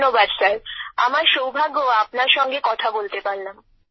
ধন্যবাদ স্যার আমার সৌভাগ্য আপনার সঙ্গে কথা বলতে পারলাম